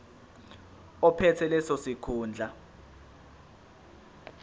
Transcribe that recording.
ophethe leso sikhundla